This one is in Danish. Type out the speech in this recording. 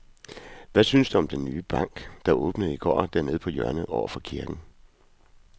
Hvad synes du om den nye bank, der åbnede i går dernede på hjørnet over for kirken?